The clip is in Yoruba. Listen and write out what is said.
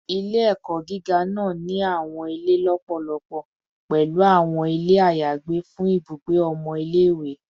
Ile-ẹkọ giga naa ni awọn ile lọpọlọpọ, pẹlu awọn ile ayagbe fun ibugbe ọmọ ile-iwe